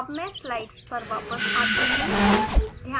अब मैं स्लाइड्स पर वापस आती हूँ